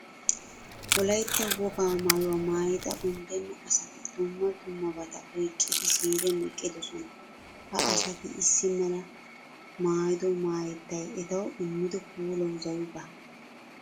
Wolaytta wogaa maayuwaa maayida unddenna assti dumma dummabata oyqqidi ziiriyaan eqqidoosona. Ha asati issi mala maayido maayettay etawu immido puulawu zawi baawa.